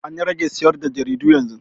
An rage sayar da jaridu yanzu.